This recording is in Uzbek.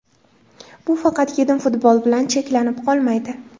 Bu faqatgina futbol bilan cheklanib qolmaydi.